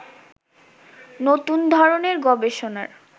নতুন ধরনের গবেষণার